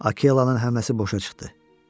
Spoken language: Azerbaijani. Akellanın həmləsi boşa çıxdı.